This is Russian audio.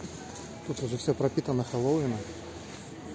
тут все пропитана хэллоуина